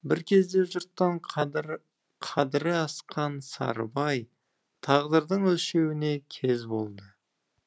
бір кезде жұрттан қадірі асқан сарыбай тағдырдың өлшеуіне кез болды